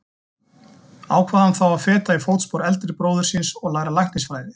Ákvað hann þá að feta í fótspor eldri bróður síns og læra læknisfræði.